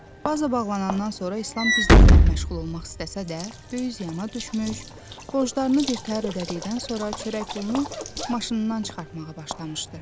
Baza bağlanandan sonra İslam bizneslə məşğul olmaq istəsə də, böyük ziyana düşmüş, borclarını birtəhər ödədikdən sonra çörək pulunu maşınından çıxartmağa başlamışdı.